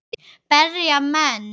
Berja menn?